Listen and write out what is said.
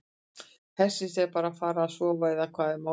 Hersir: Ertu bara að fara að sofa eða hvað er málið?